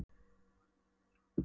Já, Hallmundur er að ávarpa hana!